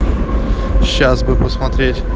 сейчас бы посмотреть